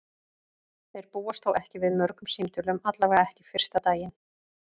Þeir búast þó ekki við mörgum símtölum, allavega ekki fyrsta daginn.